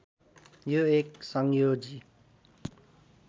यो एक संयोजी